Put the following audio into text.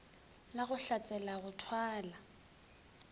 la go hlatsela go thwala